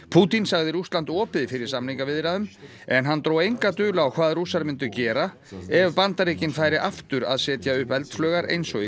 Pútín sagði Rússland opið fyrir samningaviðræðum en hann dró enga dul á hvað Rússar myndu gera ef Bandaríkin færu aftur að setja upp eldflaugar eins og í